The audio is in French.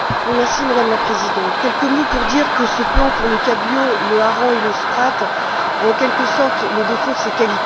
Madame la Présidente, quelques mots pour dire que ce plan pour le cabillaud, le hareng et le sprat a, en quelque sorte, les défauts de ses qualités.